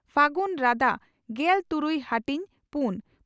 ᱯᱷᱟᱹᱜᱩᱱ ᱨᱟᱫᱟ ᱺᱜᱮᱞ ᱛᱩᱨᱩᱭ ᱦᱟᱹᱴᱤᱧ ᱺ ᱯᱩᱱ